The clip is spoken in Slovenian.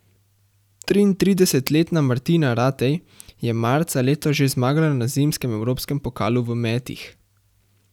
Triintridesetletna Martina Ratej je marca letos že zmagala na zimskem evropskem pokalu v metih.